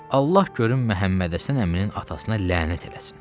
Allah görüm Məhəmmədhəsən əminin atasına lənət eləsin.